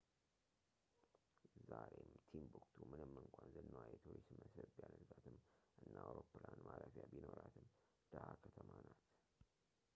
ዛሬም ቲምቡክቱ ምንም እንኳን ዝናዋ የቱሪስት መስህብ ቢያደርጋትም እና አውሮፕላን ማረፊያ ቢኖራትም ድሃ ከተማ ናት